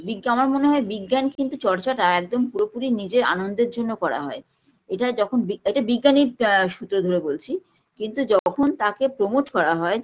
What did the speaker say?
বিজ্ঞা আমার মনে হয় বিজ্ঞান কিন্তু চর্চাটা একদম পুরোপুরি নিজের আনন্দের জন্য করা হয় এটা যখন বি এটা বিজ্ঞানীর আ সূত্র ধরে বলছি কিন্তু যখন তাকে promote করা হয়